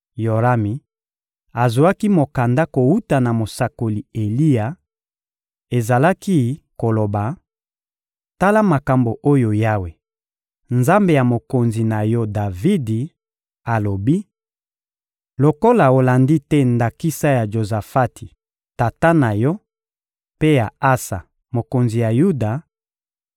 Yorami azwaki mokanda kowuta na mosakoli Eliya; ezalaki koloba: «Tala makambo oyo Yawe, Nzambe ya mokonzi na yo Davidi, alobi: ‹Lokola olandi te ndakisa ya Jozafati, tata na yo, mpe ya Asa, mokonzi ya Yuda,